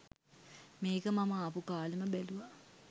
මේක මම ආපු කාලෙම බැලුවා.